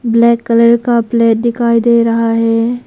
Black colour का plate दिखाई दे रहा है।